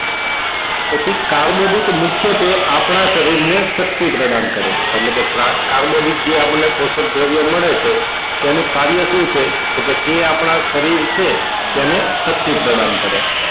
પછી કાર્બોદિત મુખ્યત્વે આપણા શરીર ને શક્તિ પ્રદાન કરે એટલે કે કાર્બોદિત જે આપણને કોશક દ્રવ્યો મળે છે તેનું કાર્ય શું છે તો કે તે આપણા શરીર છે તેને શક્તિ પ્રદાન કરે